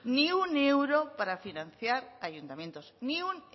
ni un euro para financiar ayuntamientos ni un